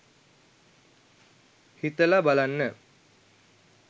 හිතල බලන්න